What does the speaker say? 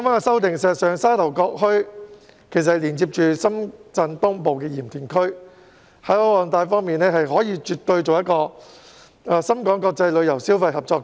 事實上，沙頭角墟連接深圳東部的鹽田區，該處的海岸帶絕對可發展為深港國際旅遊消費合作區。